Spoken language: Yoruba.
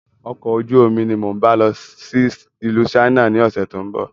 Ọkọ̀ ojú omi ni mo ń bá lọ sí ìlú "China" ni ọ̀sẹ̀ tó ń bọ̀